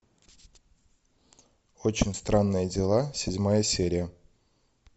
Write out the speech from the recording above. очень странные дела седьмая серия